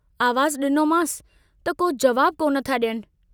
आवाजु डिनोमांस त को जवाबु को नथा ॾियनि।